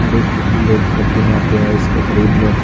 हर एक लोग प्रति दिन आते हैं इसको खरीदने--